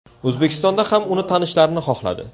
O‘zbekistonda ham uni tanishlarini xohladi.